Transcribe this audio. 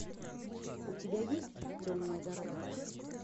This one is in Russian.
у тебя есть темная дорога